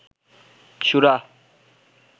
সুরা